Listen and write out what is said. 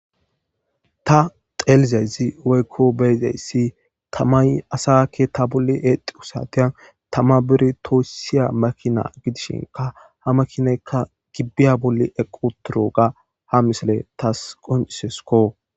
Ta xeiyizaysi woykon beyizaysi tamay asa keta bolla exidi exiyosa bidi toyso makina gidishin ha makinaayka giba bolla bidi eqi uttidoga ha misiley taw qoncises ko